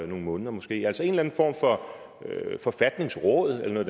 nogle måneder måske altså en eller anden form for forfatningsråd eller noget